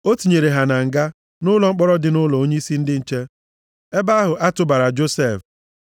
O tinyere ha na nga, nʼụlọ mkpọrọ dị nʼụlọ onyeisi ndị nche, ebe ahụ a tụbara Josef.